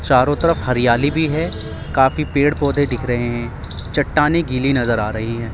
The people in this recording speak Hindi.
चारों तरफ हरियाली भी है काफी पेड़ पौधे दिख रहे हैं चट्टाने गिली नजर आ रही है।